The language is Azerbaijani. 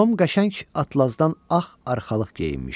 Tom qəşəng atlazdan ağ arxalıq geyinmişdi.